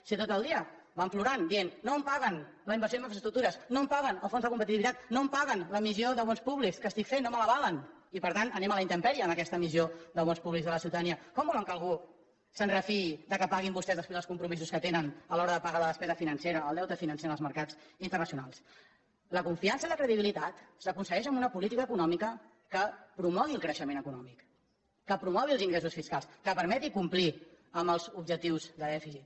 si tot el dia van plorant dient no em paguen la inversió en infraestructures no em paguen el fons de competitivitat no em paguen l’emissió de bons públics que estic fent no me l’avalen i per tant anem a la intempèrie en aquesta emissió de bons públics a la ciutadania com volen que algú es refiï que paguin vostès després els compromisos que tenen a l’hora de pagar la despesa financera el deute financer en els mercats internacionals la confiança i la credibilitat s’aconsegueixen amb una política econòmica que promogui el creixement econòmic que promogui els ingressos fiscals que permeti complir amb els objectius de dèficit